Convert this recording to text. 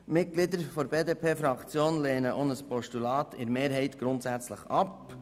Die Mitglieder der BDP-Fraktion lehnen mehrheitlich auch ein Postulat grundsätzlich ab.